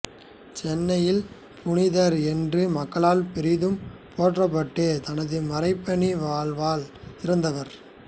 சென்னையின் புனிதர் என்று மக்களால் பெரிதும் போற்றப்பட்டு தனது மறைபணி வாழ்வால் சிறந்தவர்